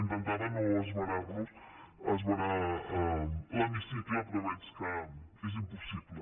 intentava no esverar los no esverar l’hemicicle però veig que és impossible